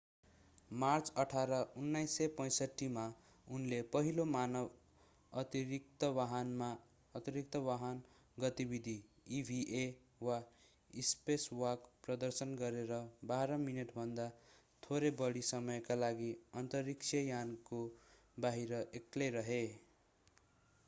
March 18 1965 मा उनले पहिलो मानव अतिरिक्तवाहन गतिविधि eva वा स्पेसवाक” प्रदर्शन गरेर बाह्र मिनेटभन्दा थोरै बढी समयका लागि अन्तरिक्षयानको बाहिर एक्लै रहे।